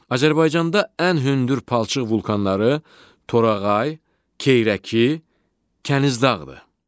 Azərbaycanda ən hündür palçıq vulkanları Torağay, Keyrəki, Kənizdağdır.